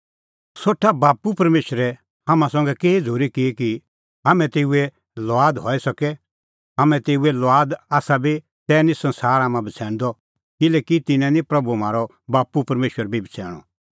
सोठा बाप्पू परमेशरै हाम्हां संघै केही झ़ूरी की कि हाम्हैं तेऊए लुआद हई सके हाम्हैं तेऊए लुआद आसा बी तैही निं संसार हाम्हां बछ़ैणदअ किल्हैकि तिन्नैं निं प्रभू म्हारअ बाप्पू परमेशर बी बछ़ैणअ